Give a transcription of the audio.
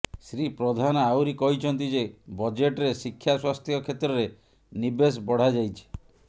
ଶ୍ରୀ ପ୍ରଧାନ ଆହୁରି କହିଛନ୍ତି ଯେ ବଜେଟରେ ଶିକ୍ଷା ସ୍ୱାସ୍ଥ୍ୟ କ୍ଷେତ୍ରରେ ନିବେଶ ବଢାଯାଇଛି